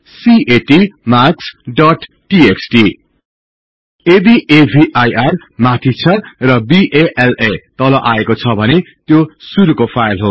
CAT marks dot TXT यदि अविर माथि छ र बाला तल आएको छ भने त्यो शुरुको फाईल हो